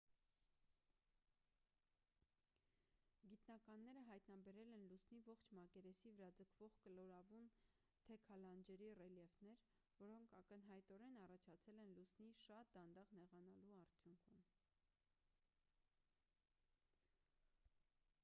գիտնականները հայտնաբերել են լուսնի ողջ մակերեսի վրա ձգվող կլորավուն թեքալանջերի ռելիեֆներ որոնք ակնհայտորեն առաջացել են լուսնի շատ դանդաղ նեղանալու արդյունքում